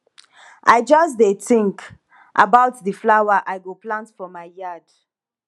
i just dey think about the flower i go plant for my yard